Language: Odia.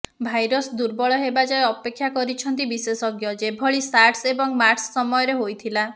ଭାଇରସ ଦୁର୍ବଳ ହେବା ଯାଏଁ ଅପେକ୍ଷା କରିଛନ୍ତି ବିଶେଷଜ୍ଞ ଯେଭଳି ସାର୍ଶ ଏବଂ ମାର୍ଶ ସମୟରେ ହୋଇଥିଲା